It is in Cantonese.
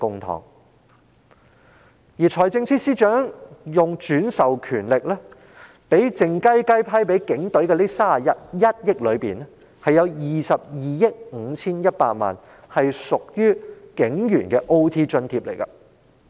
在財政司司長運用轉授權力，靜悄悄批撥予警隊的近31億元款項中，有22億 5,100 萬元屬支付予警務人員的加班津貼。